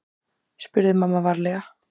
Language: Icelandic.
spurði mamma varlega.